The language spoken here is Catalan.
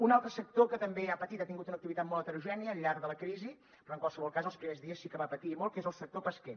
un altre sector que també ha patit ha tingut una activitat molt heterogènia al llarg de la crisi però en qualsevol cas els primers dies sí que va patir molt que és el sector pesquer